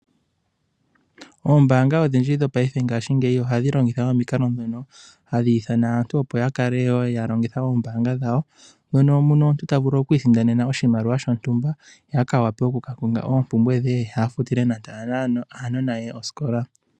Oombanga odhindji dhopaife ngashingeyi ohadhi longitha omikalo dhono hadhi ithana aantu opo yakale wo yalongitha oombanga dhawo mono omuntu tavulu oku isindanena oshimaliwa shontumba, opo a wape oku kakonga oopumbwe dhe ye avule oku kafutila aanona ye oskola.